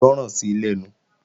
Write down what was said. Gbọ́ràn sí lẹ́nu!